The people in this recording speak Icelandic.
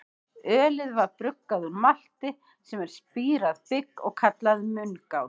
Ölið var bruggað úr malti, sem er spírað bygg, og kallað mungát.